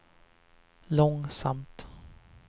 långsamt